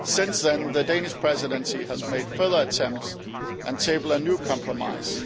Since then, the Danish Presidency has made further attempts and tabled a new compromise,